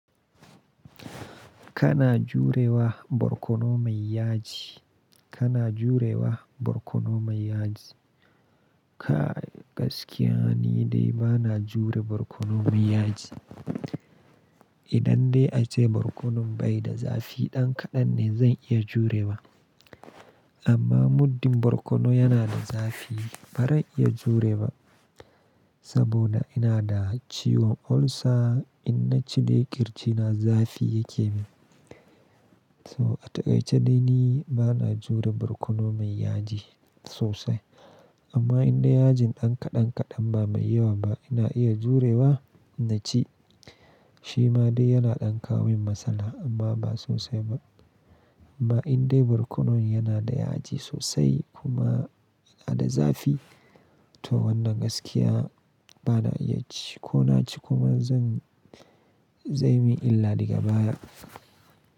Kana jurewa borkono mai yaji, kana jurewa borkono mai yaji? Kai gaskiya ni dai ba na jure borkono mai yaji. Idan dai ace borkonon bai da zafi ɗan kaɗan ne zan iya jurewa. Amma muddin borkono yana da zafi ba ran iya jure ba. Saboda ina da ciwon ulcer in na ci dai ƙirji na zafi yake min. So a takaice dai ni ba na jure borkono mai yaji sosai. Amma in dai yajin ɗan kaɗan kaɗan ba mai yawa ba ina iya jurewa in na ci. Shi ma dai yana ɗankawo min matsala amma ba sosai ba. Amma in dai borkonon yana da yaji sosai kuma yana da zafi to wannan gaskiya ba na iya ci ko na ci kuma zan zai yi min illa daga baya.